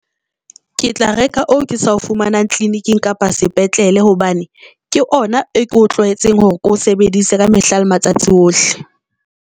Ke tla reka oo ke sa o fumanang tleliniking kapa sepetlele hobane ke ona e ko tlwaetseng hore ke o sebedise ka mehla le matsatsi ohle.